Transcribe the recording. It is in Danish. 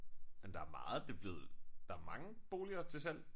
Men der meget det blevet der mange boliger til salg